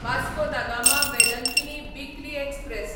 Vasco da Gama Velankanni weekly express